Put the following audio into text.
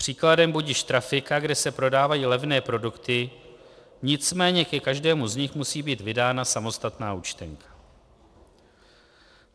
Příkladem budiž trafika, kde se prodávají levné produkty, nicméně ke každému z nich musí být vydána samostatná účtenka.